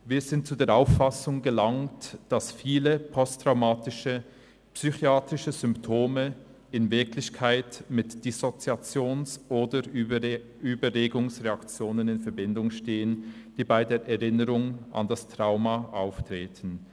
«Wir sind zu der Auffassung gelangt, dass viele posttraumatische psychiatrische Symptome in Wirklichkeit mit Dissoziations- oder Übererregungsreaktionen in Verbindung stehen, die bei der Erinnerung an das Trauma auftreten.